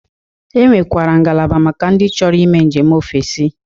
E nwekwara ngala maka ndị chọro ime njem ofesi.